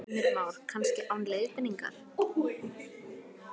Heimir Már: Kannski án leiðbeiningar?